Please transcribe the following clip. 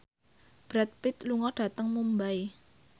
Brad Pitt lunga dhateng Mumbai